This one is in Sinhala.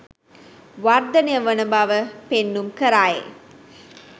වර්ධනය වන බව පෙන්නුම් කරයි.